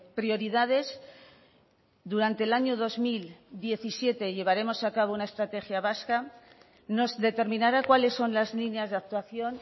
prioridades durante el año dos mil diecisiete llevaremos a cabo una estrategia vasca nos determinará cuáles son las líneas de actuación